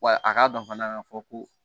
Wa a k'a dɔn fana ka fɔ ko